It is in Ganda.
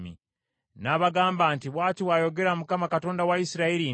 N’abagamba nti, “Bw’ati bw’ayogera Mukama , Katonda wa Isirayiri nti,